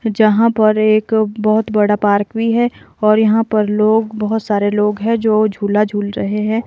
जहाँ पर एक बहुत बड़ा पार्क भी है और यहाँ पर लोग बहुत सारे लोग हैं जो झूला झूल रहे हैं।